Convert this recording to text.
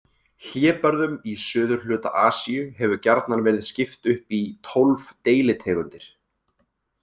Hlébörðum í suðurhluta Asíu hefur gjarnan verið skipt upp í tólf deilitegundir.